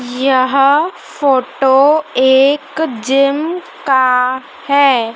यह फोटो एक जिम का है।